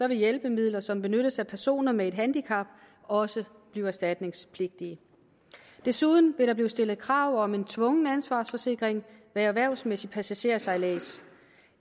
vil hjælpemidler som benyttes af personer med et handicap også blive erstatningspligtige desuden vil der blive stillet krav om en tvungen ansvarsforsikring ved erhvervsmæssig passagersejlads